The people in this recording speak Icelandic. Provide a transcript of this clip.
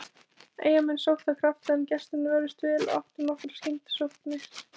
Eyjamenn sóttu af krafti, en gestirnir vörðust vel og áttu nokkrar skyndisóknir.